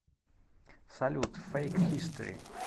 салют фэйк хистори